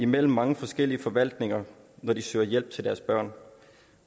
mellem mange forskellige forvaltninger når de søger hjælp til deres børn